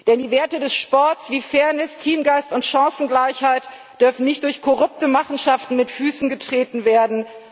Denn die Werte des Sports wie Fairness, Teamgeist und Chancengleichheit dürfen nicht durch korrupte Machenschaften mit Füßen getreten werden.